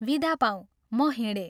विदा पाऊँ म हिंडेँ।